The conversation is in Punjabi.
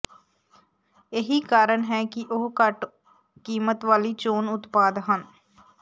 ਇਹੀ ਕਾਰਣ ਹੈ ਕਿ ਉਹ ਘੱਟ ਕੀਮਤ ਵਾਲੀ ਚੋਣ ਉਤਪਾਦ ਹਨ